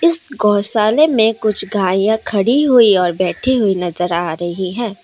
इस गौशाले में कुछ गाये खड़ी हुई और बैठी हुई नजर आ रही है।